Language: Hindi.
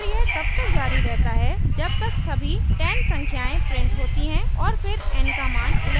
और यह तब तक जारी रहता है जब तक सभी 10 संख्याएं printed होती है और फिरn का मान 11 हो जाता है